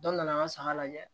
Dɔ nana an ka saga lajɛ